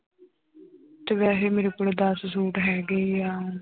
ਤੇ ਵੈਸੇ ਮੇਰੇ ਕੋਲੇ ਦਸ ਸੂਟ ਹੈਗੇ ਹੀ ਆ